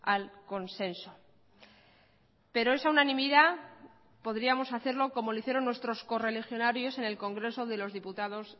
al consenso pero esa unanimidad podríamos hacerlo como lo hicieron nuestros co religionarios en el congreso de los diputados